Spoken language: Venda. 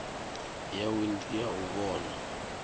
yawe ndi ya u vhona